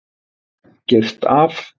Girt af